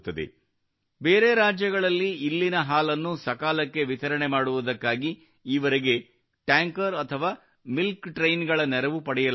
ಬೇರೆ ರಾಜ್ಯಗಳಲ್ಲಿ ಇಲ್ಲಿನ ಹಾಲನ್ನು ಸಕಾಲಕ್ಕೆ ವಿತರಣೆ ಮಾಡುವುದಕ್ಕಾಗಿ ಈವರೆಗೆ ಟ್ಯಾಂಕರ್ ಅಥವಾ ಮಿಲ್ಕ್ ಟ್ರೈನ್ಸ್ ಗಳ ನೆರವು ಪಡೆಯಲಾಗುತ್ತಿತ್ತು